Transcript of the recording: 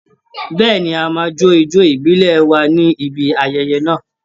Bẹ́ẹ̀ni, a máa jó ijó ìbílẹ̀ wa ní ibi ayẹyẹ náà.